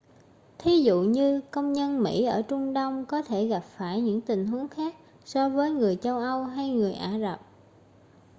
thí dụ như công dân mỹ ở trung đông có thể gặp phải những tình huống khác so với người châu âu hay người ả rập